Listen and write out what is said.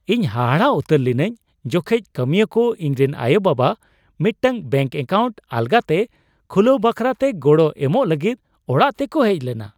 ᱤᱧ ᱦᱟᱦᱟᱲᱟᱜ ᱩᱛᱟᱹᱨ ᱞᱤᱱᱟᱹᱧ ᱡᱚᱠᱷᱮᱡ ᱠᱟᱹᱢᱤᱭᱟᱹ ᱠᱚ ᱤᱧᱨᱮᱱ ᱟᱭᱳᱼᱵᱟᱵᱟ ᱢᱤᱫᱴᱟᱝ ᱵᱮᱝᱠ ᱮᱠᱟᱣᱩᱱᱴ ᱟᱞᱜᱟᱛᱮ ᱠᱷᱩᱞᱟᱹᱣ ᱵᱟᱠᱷᱨᱟᱛᱮ ᱜᱚᱲᱚ ᱮᱢᱚᱜ ᱞᱟᱹᱜᱤᱫ ᱚᱲᱟᱜ ᱛᱮᱠᱚ ᱦᱮᱡ ᱞᱮᱱᱟ ᱾